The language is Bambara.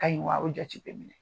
Ka ɲi wa a jate bɛ minɛ